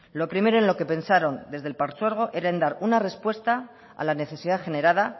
lo primero en lo que pensaron desde el partzuergo era en dar una respuesta a la necesidad generada